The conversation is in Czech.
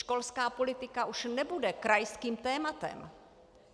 Školská politika už nebude krajským tématem.